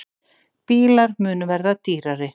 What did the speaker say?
Bílar munu verða dýrari